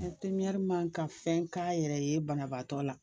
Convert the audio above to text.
man kan ka fɛn k'a yɛrɛ ye banabaatɔ la.